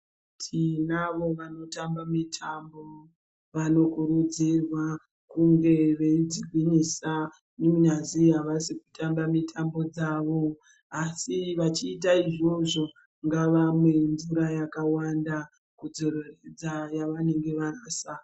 Tinavo vanotamba mitambo vanokurudzirwa kunge veitigwinyisa kunyazwi avasi kutamba mitambo dzavo asi vachiita izvozvo ngavamwe mvura yakawanda kudzoreredza yavanenge vabvisa .